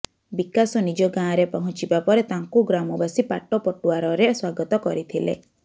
ବିକାଶ ନିଜ ଗାଁରେ ପହଞ୍ଚିବା ପରେ ତାଙ୍କୁ ଗ୍ରାମବାସୀ ପାଟପଟୁଆରରେ ସ୍ୱାଗତ କରିଥିଲେ